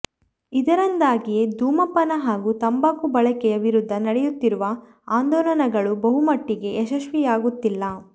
ಇದರಿಂದಾಗಿಯೇ ಧೂಮಪಾನ ಹಾಗೂ ತಂಬಾಕು ಬಳಕೆಯ ವಿರುದ್ಧ ನಡೆಯುತ್ತಿರುವ ಆಂದೋಲನಗಳು ಬಹುಮಟ್ಟಿಗೆ ಯಶಸ್ವಿಯಾಗುತ್ತಿಲ್ಲ